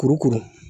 Kurukuru